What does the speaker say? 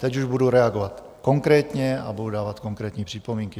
Teď už budu reagovat konkrétně a budu dávat konkrétní připomínky.